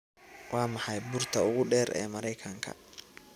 waa maxay buurta ugu dheer ee maraykanka